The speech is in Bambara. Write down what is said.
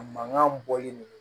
A mankan bɔli le